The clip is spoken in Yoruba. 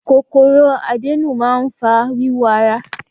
Kòkòrò àdénù máa ń fa wíwú ara.